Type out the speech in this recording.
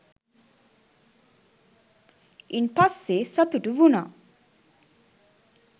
ඉන් පස්සේ සතුටු වුණා.